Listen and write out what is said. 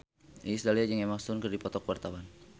Iis Dahlia jeung Emma Stone keur dipoto ku wartawan